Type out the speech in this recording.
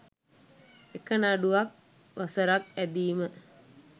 එක නඩුවක් වසරක් ඇදීම